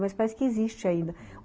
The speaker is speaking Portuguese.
Mas parece que existe ainda.